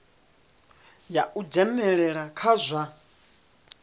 ya u dzhenelela kha zwa